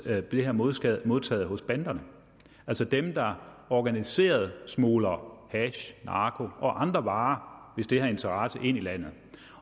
her bliver modtaget modtaget hos banderne altså dem der organiseret smugler hash narko og andre varer hvis det har interesse ind i landet